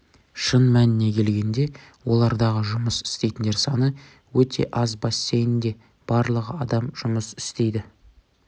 шын мәніне келгенде олардағы жұмыс істейтіндер саны өте аз бассейнде барлығы адам жұмыс істейді